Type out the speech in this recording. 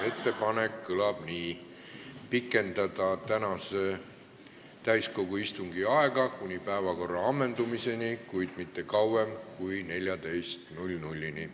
Ettepanek kõlab nii: pikendada tänase täiskogu istungi aega kuni päevakorra ammendumiseni, kuid mitte kauem kui kella 14-ni.